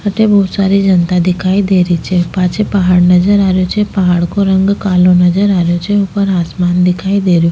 अठे बहोत सारी जनता दिखाई दे रही छे पाछे पहाड़ नजर आ रियाे छे पहाड़ को रंग कालो नजर आ रहियो छे ऊपर आसमान दिखाई दे रहियो।